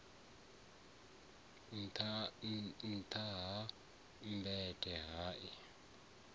nṱtha ha mmbete hai a